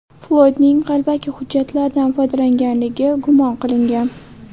Floydning qalbaki hujjatlardan foydalanganligi gumon qilingan.